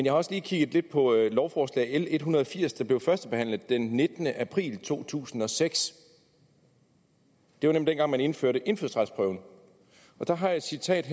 har også lige kigget lidt på lovforslag l en hundrede og firs der blev førstebehandlet den nittende april to tusind og seks det var nemlig dengang man indførte indfødsretsprøven og der har jeg et citat